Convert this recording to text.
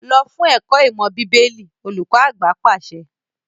Lọ fún ẹ̀kọ́ ìmọ̀ bíbélì! olùkọ àgbà obìnrin pàṣẹ.